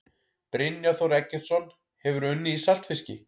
Brynjar Þór Eggertsson Hefurðu unnið í saltfiski?